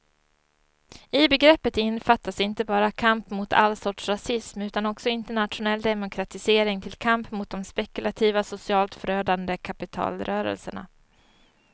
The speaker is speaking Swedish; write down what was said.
I begreppet innefattas inte bara kamp mot all sorts rasism utan också internationell demokratisering till kamp mot de spekulativa, socialt förödande kapitalrörelserna.